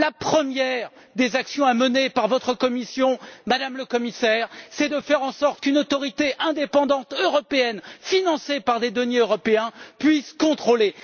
La première des actions à mener par votre Commission, Madame la Commissaire, c'est de faire en sorte qu'une autorité indépendante européenne, financée par des deniers européens, puisse contrôler.